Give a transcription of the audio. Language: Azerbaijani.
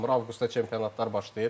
Avqustda çempionatlar başlayır.